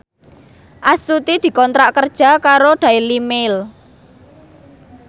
Astuti dikontrak kerja karo Daily Mail